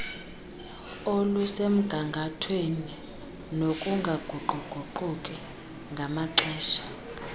olusemgangathweni nokungaguquguquki namaxesha